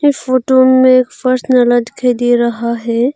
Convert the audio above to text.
ये फोटो में एक दिखाई दे रहा है।